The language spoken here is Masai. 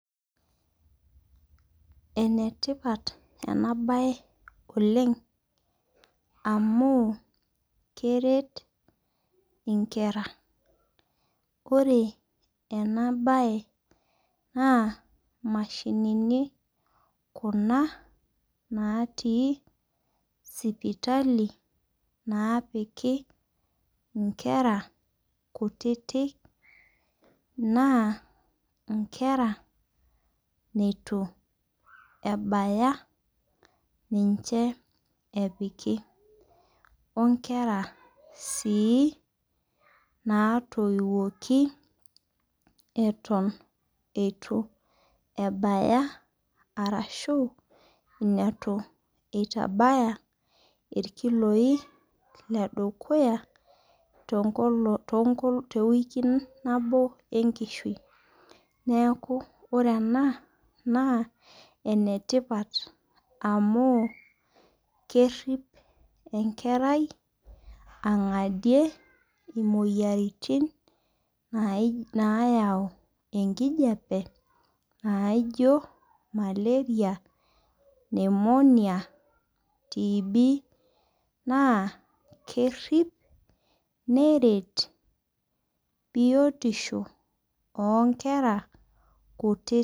Ene tipata ena bae oleng' amu keret inkera. Ore ena bae naa imashinini kuna naati sipitali naapiki inkera kutiti naa inkera neitu ebaya ninche epiki onkera sii natoiwoki eton eitu ebaya ashu neton eitu eitabaya irkiloi toonkoling'i tewiki nabo enkishui. Neeku ore enaa naa enetipat amuu kerip enkerai ang'adie imoyiaritin nayau enkijape naijo malaria Pneumonia TB naa kerip neret biotisho oo nkera kutitik